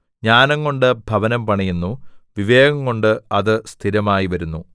ജ്ഞാനംകൊണ്ട് ഭവനം പണിയുന്നു വിവേകംകൊണ്ട് അത് സ്ഥിരമായിവരുന്നു